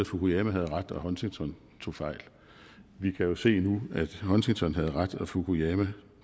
fukuyama havde ret og at huntington tog fejl vi kan jo se nu at huntington havde ret og at fukuyama